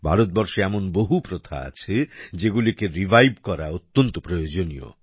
ভারতবর্ষে এমন বহু প্রথা আছে যেগুলিকে রিভাইভ করা অত্যন্ত প্রয়োজনীয়